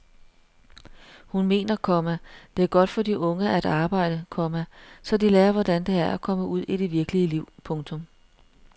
Hun mener, komma det er godt for de unge at arbejde, komma så de lærer hvordan det er at komme ud i det virkelige liv. punktum